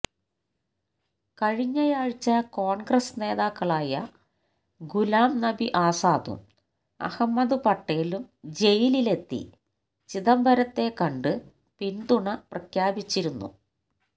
കഴിഞ്ഞയാഴ്ച കോണ്ഗ്രസ് നേതാക്കളായ ഗുലാം നബി ആസാദും അഹമ്മദ് പട്ടേലും ജയിലിലെത്തി ചിദംബരത്തെ കണ്ട് പിന്തുണ പ്രഖ്യാപിച്ചിരുന്നു